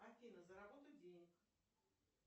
афина заработать денег